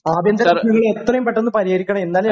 ആഭ്യന്തര പ്രശ്നങ്ങൾ എത്രയും പെട്ടെന്ന് പരിഹരിക്കണം. എന്നാലേ അത്...